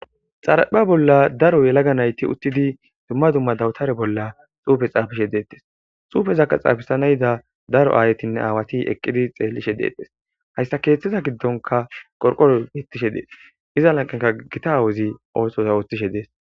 xarapha bolla daro yelaga nayti uttidi dumma dumma dawutare bolla xuufe xaafishe deettes xuufezakka xaafisanayda daro aayetinne aawati eqqidi xeellishe deettes hayssa keeththiza giddonka qorqoro bettishe dees iza lanqenka gita awuzi ootosa woothishe dees